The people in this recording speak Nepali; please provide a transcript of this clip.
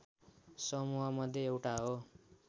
समूहमध्ये एउटा हो